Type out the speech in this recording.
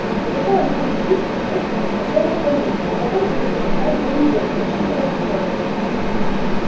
но зато они будут пить и есть за всех остальных а потом ты будешь стонать две недели подсчитывая расходы